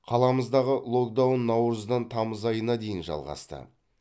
қаламыздағы локдаун наурыздан тамыз айына дейін жалғасты